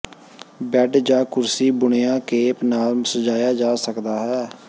bed ਜ ਕੁਰਸੀ ਬੁਣਿਆ ਕੇਪ ਨਾਲ ਸਜਾਇਆ ਜਾ ਸਕਦਾ ਹੈ